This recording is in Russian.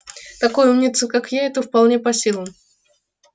такой умнице как я это вполне по силам